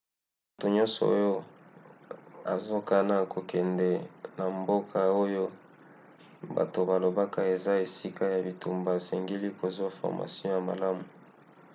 moto nyonso oyo azokana kokende na mboka oyo bato balobaka eza esika ya bitumba asengeli kozwa formation ya malamu